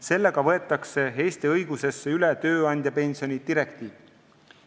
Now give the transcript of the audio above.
Sellega võetakse Eesti õigusesse üle tööandjapensioni direktiiv.